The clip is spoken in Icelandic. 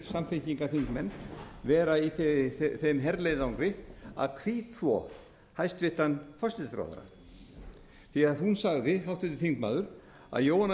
samfylkingarþingmenn vera í þeim herleiðangri að hvítþvo hæstvirtur forsætisráðherra því hún sagði háttvirtur þingmaður að jóhanna